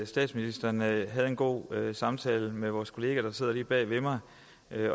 statsministeren havde en god samtale med vores kollega der sidder lige bag ved mig